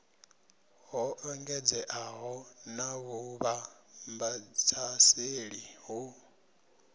ho engedzeaho na vhuvhambadzaseli ho